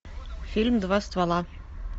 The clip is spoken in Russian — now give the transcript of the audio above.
фильм два ствола